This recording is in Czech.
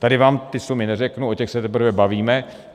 Tady vám ty sumy neřeknu, o těch se teprve bavíme.